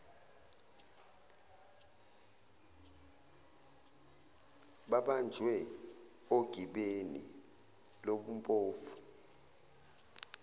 babanjwe ogibeni lobumpofu